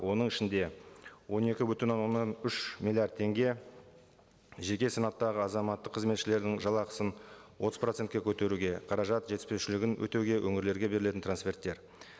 оның ішінде он екі бүтін оннан үш миллиард теңге жеке санаттағы азаматтық қызметшілердің жалақысын отыз процентке көтеруге қаражат жетіспеушілігін өтеуге өңірлерге берілетін трансферттер